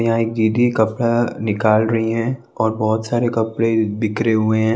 यहां एक दीदी कपड़ा निकाल रही है और बहोत सारे कपड़े बिखरे हुए हैं।